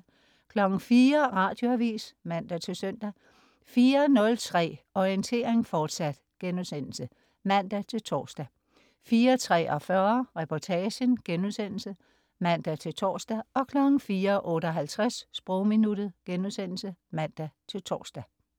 04.00 Radioavis (man-søn) 04.03 Orientering, fortsat* (man-tors) 04.43 Reportagen* (man-tors) 04.58 Sprogminuttet* (man-tors)